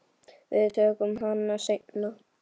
Við tökum hana seinna.